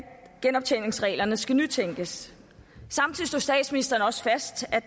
genoptjeningsreglerne skal nytænkes samtidig slog statsministeren også fast at